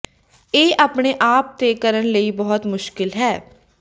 ਇਹ ਆਪਣੇ ਆਪ ਤੇ ਕਰਨ ਲਈ ਬਹੁਤ ਮੁਸ਼ਕਲ ਹੈ